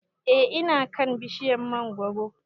E ina kan bishiryar mangoro